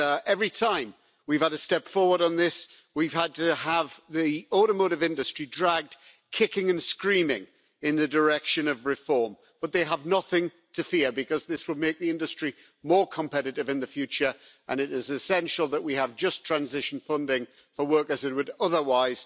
Every time we've had a step forward on this we've had to have the automotive industry dragged, kicking and screaming, in the direction of reform. But they have nothing to fear, because this will make the industry more competitive in the future and it is essential that we have just transition funding for workers who would otherwise,